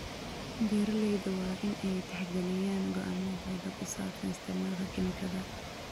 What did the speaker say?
Beeraleyda waa in ay tixgeliyaan go'aamadooda ku saabsan isticmaalka kiimikada.